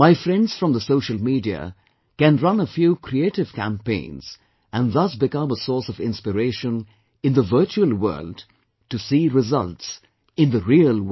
My friends from the social media can run a few creative campaigns and thus become a source of inspiration in the virtual world, to see results in the real world